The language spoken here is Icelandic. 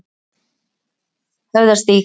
Höfðastíg